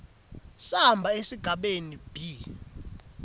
samba sesigaba b